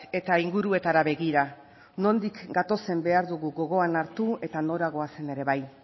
eta inguruetara begira nondik gatozen behar dugu gogoan hartu eta nora goazen ere bai